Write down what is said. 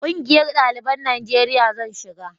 ƙungiyar daliban najeriya zan shiga